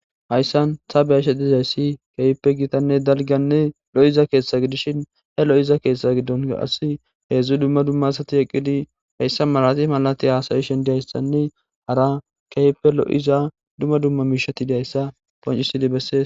hayssan tabeyashe dizayssi keehppe gitanne dalganne lo7iza keeshtha gidishin he lo7iza keeshtha giddon as heedzdzu dumma dumma asati eqqidi heyssa malati malati haasayishen dihayssanne hara keyppe lo7iza dumma dumma miishati dayssa poncisidi bessees